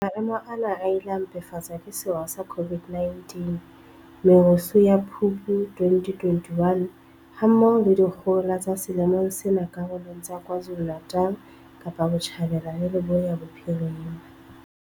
Maemo ana a ile a mpefatswa ke sewa sa COVID-19, merusu ya Phupu 2021, ha mmoho le dikgohola tsa selemong sena karolong tsa KwaZulu-Natal, Kapa Botjhabela le Leboya Bophirima.